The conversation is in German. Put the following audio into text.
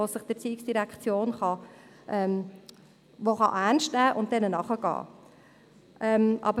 Die ERZ kann diese ernst nehmen und ihnen nachgehen.